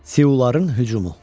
Siaların hücumu.